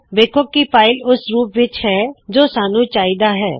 ਵੇਖੋ ਕੀ ਫ਼ਾਇਲ ਓਸ ਰੂਪ ਵਿੱਚ ਹੈ ਜੋ ਸਾੱਨੂ ਚਾਹੀ ਦਾ ਹੈ